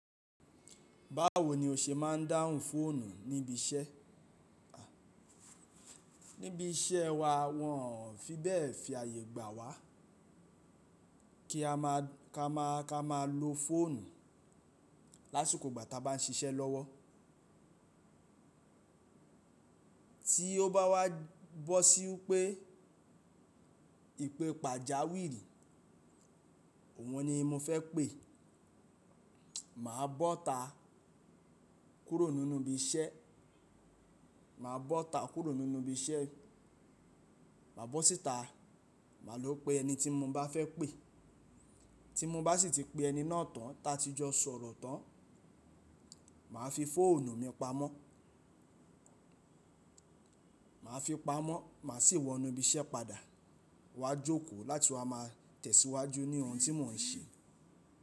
Báwo ni o ṣe máa ń dáhùn fóònù ní ibi iṣẹ́? Ní ibi iṣẹ́ wa wọn ò fi bẹ́ẹ̀ fi àyè gbà wá kí a máa, ka máa, ka máa lo fóònù lásìkò ìgbà ta bá ń siṣẹ́ lọ́wọ́. Tí ó bá wá bọ́ sí wi pé ìpè pàjáwìíri, òun ni mo fẹ́ pé. Màá bọ́ta kúrò nínú ibi iṣẹ́, màá bọ́ta kúrò nínú ibi iṣẹ́, má bọ́ síta, màá lọ pe ẹni tí mo bá fẹ́ pé. Tí mo bá sì ti pe ẹni náà tán, ta tí jọ sọ̀rọ̀ tán, màá fi fóònù mi pamọ́. Màá fi pamọ́, mà á sì wọ inú ibi iṣẹ́ padà wá jókòó láti wá máa tẹ̀síwájú ní ohun tí mò ń ṣe.